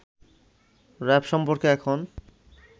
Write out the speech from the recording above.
RAB সম্পর্কে এখন